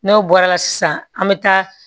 N'o bɔra la sisan an mi taa